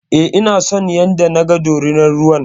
E, ina son yanda naga dorinar ruwan.